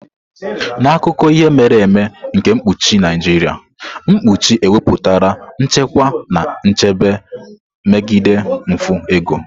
N'akụkọ ihe mere eme nke mkpuchi Naijiria, mkpuchi ewepụtala nchekwa na nchebe megide mfu ego.